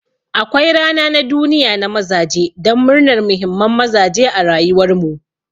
Akwai rana na duniya na mazaje don murnan muhimman mazaje a rayuwar mu.